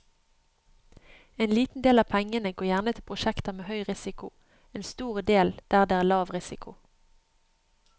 En liten del av pengene går gjerne til prosjekter med høy risiko, en stor del der det er lav risiko.